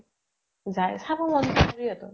যায় । চাব মন যায়, ইহঁতক